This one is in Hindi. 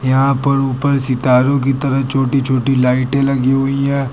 यहां पर ऊपर सितारों की तरह छोटी छोटी लाइटें लगी हुई हैं।